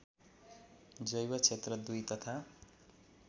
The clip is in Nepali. जैवक्षेत्र २ तथा